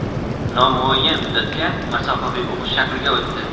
nomuayyan muddatga masofaviy o‘qish shakliga o‘tdi.